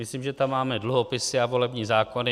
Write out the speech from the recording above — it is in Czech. Myslím, že tam máme dluhopisy a volební zákony.